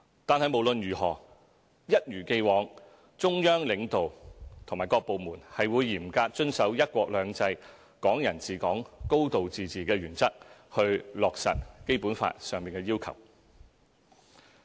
但是，無論如何，中央領導和各部門是會一如既往嚴格遵守"一國兩制"、"港人治港"、"高度自治"的原則去落實《基本法》的要求。